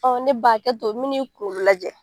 ne ba hakɛto min'i kuru lajɛ